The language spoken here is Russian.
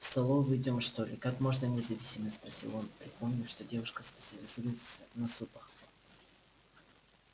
в столовую идём что ли как можно независимее спросил он припомнив что девушка специализируется на супах